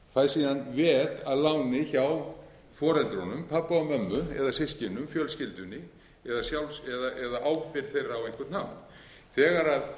fær síðan veð að láni hjá foreldrunum pabba og mömmu eða systkinum fjölskyldunni eða ábyrgð þeirra á einhvern hátt þegar